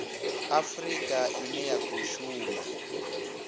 afurika ine ya khou shuma